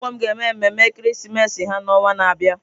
Ụlọ akwụkwọ m ga-eme mmeme ekeresimesi ha n'ọnwa na-abịa.